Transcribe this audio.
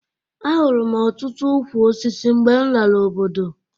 Ahụrụ m ọtụtụ ukwu osisi mgbe m lara obodo